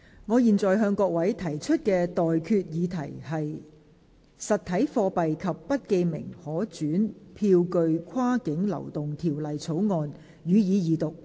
我現在向各位提出的待決議題是：《實體貨幣及不記名可轉讓票據跨境流動條例草案》，予以二讀。